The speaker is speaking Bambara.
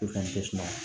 O fɛnɛ tɛ suma